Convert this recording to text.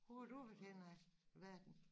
Hur har du været henne af i verden